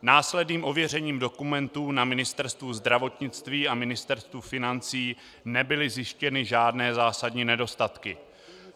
Následným ověřením dokumentů na Ministerstvu zdravotnictví a Ministerstvu financí nebyly zjištěny žádné zásadní nedostatky.